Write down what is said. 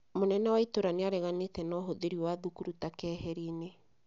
Mũnene wa itũra nĩ areganĩte na ũhũthĩri wa thukuru ta keheri-ini